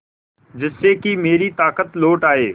जिससे कि मेरी ताकत लौट आये